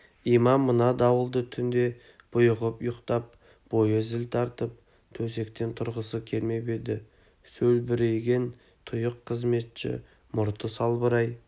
имам мына дауылды түнде бұйығып ұйықтап бойы зіл тартып төсектен тұрғысы келмеп еді сөлбірейген тұйық қызметші мұрты салбырай